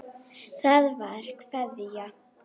Það var Kveðja.